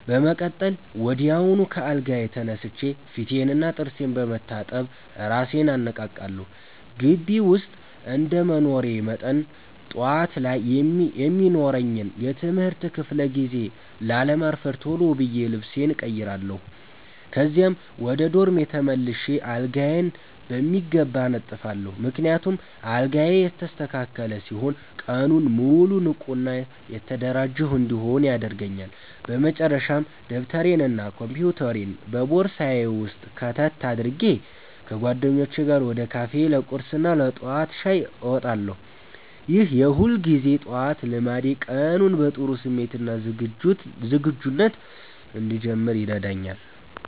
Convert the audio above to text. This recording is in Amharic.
በመቀጠል ወዲያውኑ ከአልጋዬ ተነስቼ ፊቴንና ጥርሴን በመታጠብ እራሴን አነቃቃለሁ። ግቢ ውስጥ እንደመኖሬ መጠን፣ ጠዋት ላይ የሚኖረኝን የትምህርት ክፍለ ጊዜ ላለማርፈድ ቶሎ ብዬ ልብሴን እቀይራለሁ። ከዚያም ወደ ዶርሜ ተመልሼ አልጋዬን በሚገባ አነጥፋለሁ፤ ምክንያቱም አልጋዬ የተስተካከለ ሲሆን ቀኑን ሙሉ ንቁና የተደራጀሁ እንድሆን ያደርገኛል። በመጨረሻም ደብተሬንና ኮምፒውተሬን በቦርሳዬ ውስጥ ከተት አድርጌ፣ ከጓደኞቼ ጋር ወደ ካፌ ለቁርስና ለጠዋት ሻይ እንወጣለን። ይህ የሁልጊዜ ጠዋት ልማዴ ቀኑን በጥሩ ስሜትና ዝግጁነት እንድጀምር ይረዳኛል።